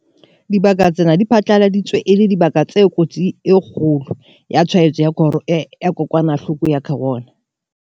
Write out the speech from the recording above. Dibaka tsena di phatlaladitswe e le dibaka tse kotsing e kgolo ya tshwaetso ya kokwanahloko ya corona.